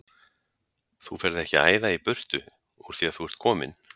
Þú ferð ekki að æða í burtu úr því að þú ert kominn!